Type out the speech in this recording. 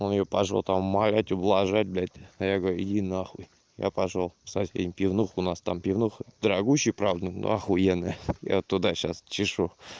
он её пошёл там умолять ублажать блядь а я говорю иди на хуй я пошёл со всеми в пивнуху у нас там пивнуха дорогущая правда но ахуенная я вот туда сейчас чешу